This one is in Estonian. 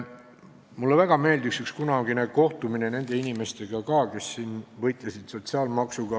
Mulle väga meeldis üks kunagine kohtumine nende inimestega, kes võitlesid siin sotsiaalmaksuga.